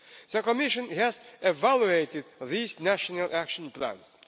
The Commission has evaluated these national action plans.